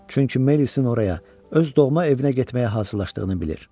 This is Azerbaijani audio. Çünki Miles-in oraya, öz doğma evinə getməyə hazırlaşdığını bilir.